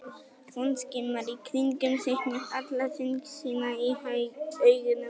Hún skimar í kringum sig með alla þyngd sína í augunum.